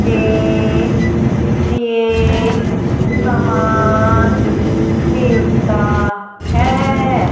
के लिए सामान मिलता है।